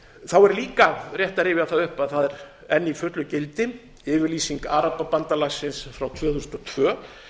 þá er líka rétt að rifja það upp að það er enn í fullu gildi yfirlýsing arababandalagsins frá tvö þúsund og tvö